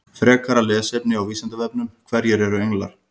Frekara lesefni á Vísindavefnum: Hverjir eru englar?